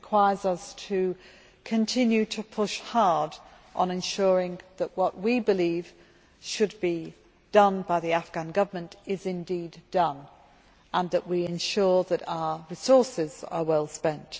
It requires us to continue to push hard on ensuring that what we believe should be done by the Afghan Government is indeed done, and that we ensure that our resources are well spent.